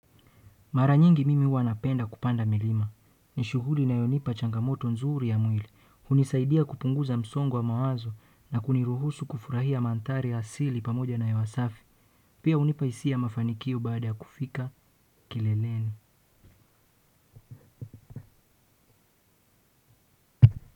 Mara nyingi mimi huwa napenda kupanda milima. Ni shughuli inayonipa changamoto nzuri ya mwili. Hunisaidia kupunguza msongo wa mawazo na kuniruhusu kufurahia mandhari ya asili pamoja na hewa safi. Pia hunipa hisia ya mafanikio baada ya kufika kileleni.